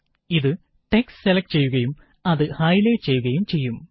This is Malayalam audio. ഇത് ടെക്സ്റ്റ് സെലക്ട് ചെയ്യുകയും അത് ഹൈലൈറ്റ് ചെയ്യുകയും ചെയ്യും